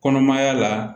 Kɔnɔmaya la